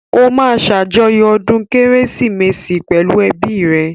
Ó máa ṣàjọyọ̀ ọdún kérésìmesì pẹ̀lú ẹ́bi rẹ̀